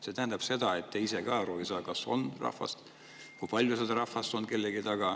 See tähendab seda, et te ise ka ei saa aru, kas on rahvas kellegi taga ja kui palju seda rahvast on.